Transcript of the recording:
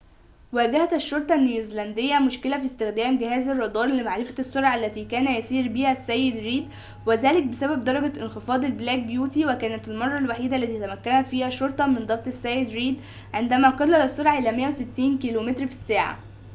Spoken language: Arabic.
واجهت الشرطة النيوزيلندية مشكلةً في استخدام جهاز الرادار لمعرفة السرعة التي كان يسير بها السيد/ ريد"، وذلك بسبب درجة انخفاض البلاك بيوتي". وكانت المرة الوحيدة التي تمكنت فيها الشرطة من ضبط السيد/ ريد عندما قلل السرعة إلى 160 كيلومتر في ساعة